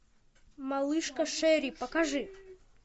малышка шерри покажи